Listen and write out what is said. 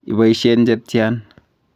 aboisyen che tyan?